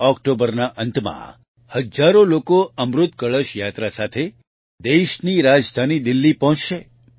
ઓક્ટોબરના અંતમાં હજારો લોકો અમૃત કળશ યાત્રા સાથે દેશની રાજધાની દિલ્હી પહોંચશે